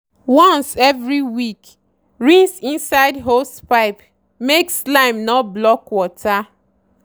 once every week rinse inside hosepipe make slime no block water.